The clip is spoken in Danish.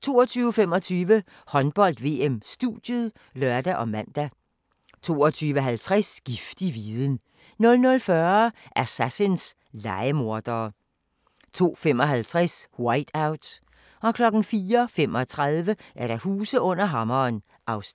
22:25: Håndbold: VM - studiet (lør og man) 22:50: Giftig viden 00:40: Assassins – lejemordere 02:55: Whiteout 04:35: Huse under hammeren (Afs.